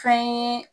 Fɛn ye